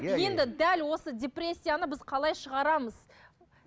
енді дәл осы депрессияны біз қалай шығарамыз